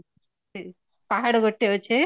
ପାହାଡ଼ ଗୋଟେ ଅଛି